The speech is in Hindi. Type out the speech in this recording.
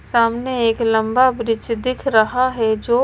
सामने एक लंबा ब्रिज दिख रहा है जो--